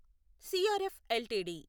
CRF LTD